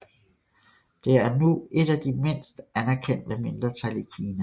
Det er nu et af de mindste anerkendte mindretal i Kina